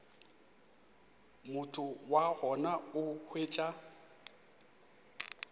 motho wa gona o hwetša